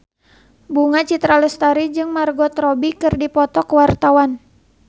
Bunga Citra Lestari jeung Margot Robbie keur dipoto ku wartawan